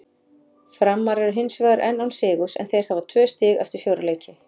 Framarar eru hinsvegar enn án sigurs en þeir hafa tvö stig eftir fjóra leiki.